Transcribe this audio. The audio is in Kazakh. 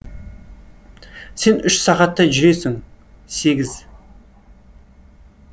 сен үш сағаттай жүресің сегіз